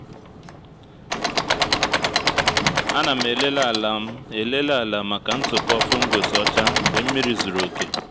a na m elele ala m elele ala maka ntụpọ fungus ọcha mgbe nmiri zuru oke